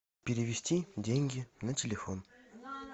перевести деньги на телефон